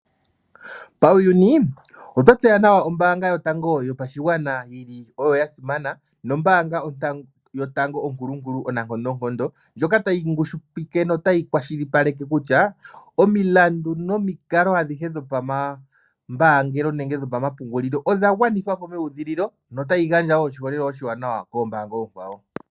Pawuyini otwa tseya nawa ombaanga yotango yopashigwana yi li oyo yasimana, nombaanga yotango onkulu nkuli, onankondonkondo ndjoka ta yi ngushipike notayi kwashilipaleka kutya omilandu nomikalo adhihe dho pamambaangelo nenge dho pamapungililo odha gwanithwa po mewudhililo, nota yi gandja woo oshiholelwa ishiwanawa koombanga oonkwawo.